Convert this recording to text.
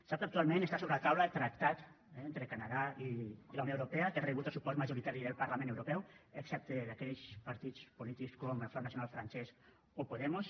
sap que actualment està sobre la taula el tractat entre el canadà i la unió europea que ha rebut el suport majoritari del parlament europeu excepte d’aquells partits polítics com el front nacional francès o podemos